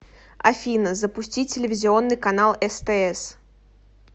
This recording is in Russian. афина запустить телевизионный канал стс